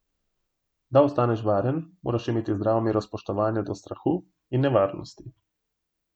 Da ostaneš varen, moraš imeti zdravo mero spoštovanja do strahu in nevarnosti.